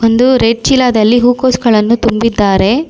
ಒಂದು ರೆಡ್ ಚೀಲದಲ್ಲಿ ಹೂಕೋಸ್ ಗಳನ್ನು ತುಂಬಿದ್ದಾರೆ.